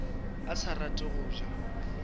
a sa rate go ja